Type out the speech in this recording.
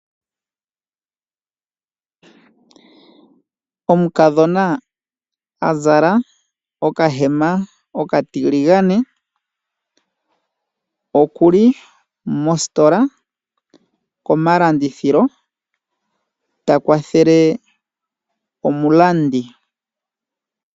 Omukadhona azala okahema okatiligane okuli mositola komalandithilo ta kwathele omulandi.